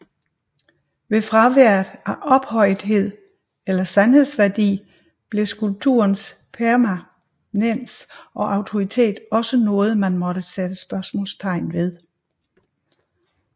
Med fraværet af ophøjethed eller sandhedsværdi blev skulpturens permanens og autoritet også noget man måtte sætte spørgsmålstegn ved